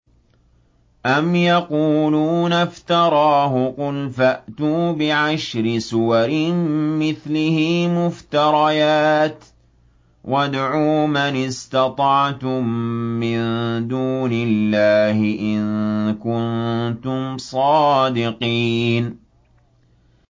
أَمْ يَقُولُونَ افْتَرَاهُ ۖ قُلْ فَأْتُوا بِعَشْرِ سُوَرٍ مِّثْلِهِ مُفْتَرَيَاتٍ وَادْعُوا مَنِ اسْتَطَعْتُم مِّن دُونِ اللَّهِ إِن كُنتُمْ صَادِقِينَ